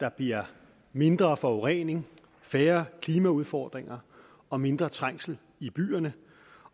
der bliver mindre forurening færre klimaudfordringer og mindre trængsel i byerne